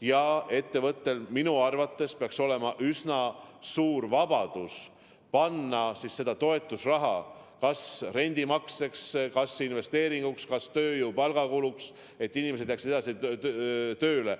Ja ettevõtetel peaks minu arvates olema üsna suur vabadus kasutada seda toetusraha kas rendimakseteks, investeeringuks või tööjõu palkadeks, et inimesed jääksid edasi tööle.